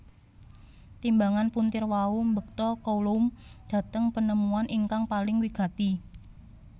Timbangan puntir wau mbekta Coulomb dhateng penemuan ingkang paling wigati